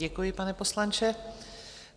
Děkuji, pane poslanče.